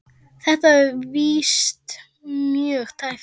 Þetta var víst mjög tæpt.